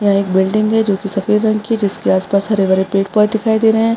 यहाँ एक बिल्डिंग है ज्योंकि सफ़ेद रंग की है जिसके आसपास हरे भरे पेड़ पौधे दिखाई दे रहे है।